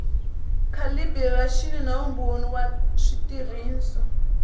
calibiraxini na vumbhoni wa switirhiso